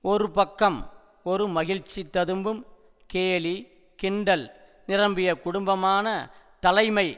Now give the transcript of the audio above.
ஒரு பக்கம் ஒரு மகிழ்ச்சி ததும்பும் கேலி கிண்டல் நிரம்பிய குடும்பமான தலைமை